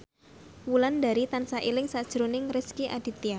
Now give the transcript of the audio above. Wulandari tansah eling sakjroning Rezky Aditya